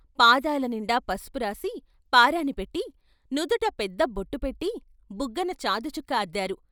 పాదాలనిండా పసుపురాసి పారాణి పెట్టి నుదుట పెద్దబొట్టు పెట్టి బుగ్గన చాదుచుక్క అద్దారు.